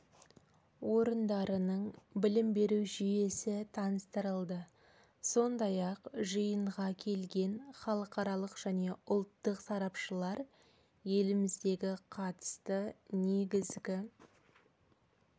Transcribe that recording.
орындарының білім беру жүйесі таныстырылды сондай-ақ жиынға келген халықаралық және ұлттық сарапшылар еліміздегі қатысты негізгі